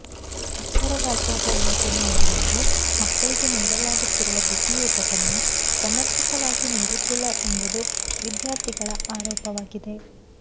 ಅಕ್ಷರದಾಸೋಹ ಯೋಜನೆಯಡಿಯಲ್ಲಿ ಮಕ್ಕಳಿಗೆ ನೀಡಲಾಗುತ್ತಿರುವ ಬಿಸಿಯೂಟವನ್ನು ಸಮರ್ಪಕವಾಗಿ ನೀಡುತ್ತಿಲ್ಲ ಎಂಬುದು ವಿದ್ಯಾರ್ಥಿಗಳ ಆರೋಪವಾಗಿದೆ